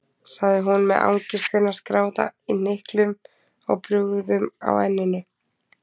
sagði hún með angistina skráða í hnyklum og bugðum á enninu.